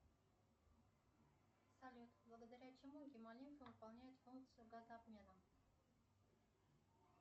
салют благодаря чему гемолимфа выполняет функцию газообмена